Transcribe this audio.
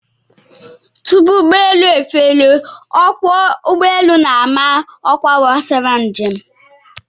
Tupu ụgbọelu efelie, ọkwọ ụgbọelu na-ama ọkwa gbasara njem